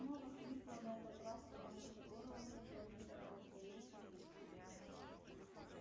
и снова хрипло на этот раз потому что горло уже пробито раздаётся жуткий вой